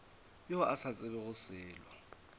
yo a sa tsebego selo